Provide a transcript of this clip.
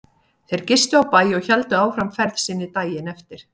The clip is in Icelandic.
Þeir gistu á bæ og héldu áfram ferð sinni daginn eftir.